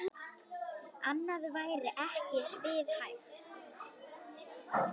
Annað væri ekki við hæfi.